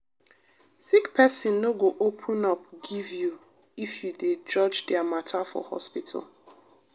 sick pesin no go open up give you if you dey judge dia mata for hospital.